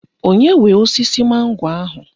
Onye nwe osisi mango ahụ?